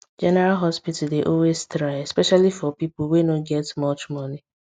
general hospital dey always try especially for people wey no get much money